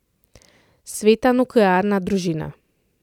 Sveta nuklearna družina.